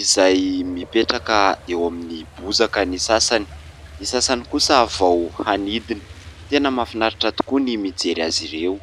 izay mipetraka eo amin'ny bozaka ny sasany, ny sasany kosa vao hanidina. Tena mahafinaritra tokoa ny mijery azy ireo.